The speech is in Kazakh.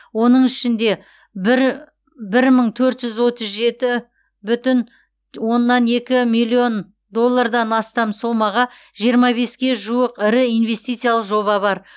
оның ішінде бір бір мың төрт жүз отыз жеті бүтін оннан екі миллион доллардан астам сомаға жиырма беске жуық ірі инвестициялық жоба бар